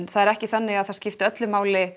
það er ekki þannig að það skipti máli